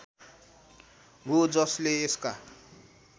हो जसले यसका